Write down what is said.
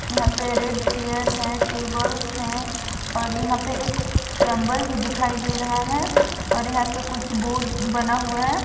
यहा पे red chair है टेबल्स है और यहा पे एक चैम्बर दिखाई दे रहा है और यहां पे कुछ बोर्ड बना हुआ है।